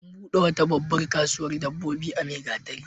An buɗe wata babbar kasuwar dabbobi a Maigatari.